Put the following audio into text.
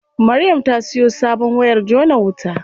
Maryam ta siyo sabon wayar jona wuta.